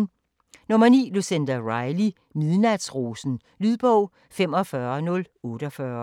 9. Riley, Lucinda: Midnatsrosen Lydbog 45048